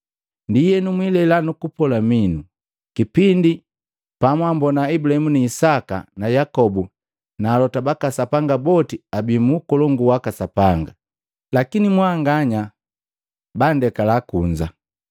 Ndienu mwilela nukupola minu, kipindi pamwambona Ibulahimu na Isaka na Yakobu na alota baka Sanga boti abii mu Ukolongu waka Sapanga, lakini mwanganya bandekala kunza!